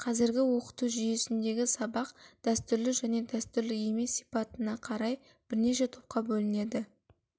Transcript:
қазіргі оқыту жүйесінде сабақ дәстүрлі және дәстүрлі емес сипатына қарай бірнеше топқа бөлінеді